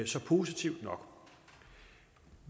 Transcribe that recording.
så positivt nok